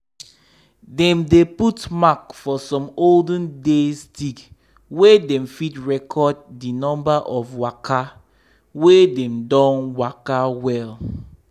dem dey put mark for some olden days stick make dem fit record d number of waka wey dem don waka well.